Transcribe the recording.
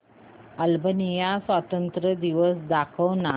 Albania स्वातंत्र्य दिवस दाखव ना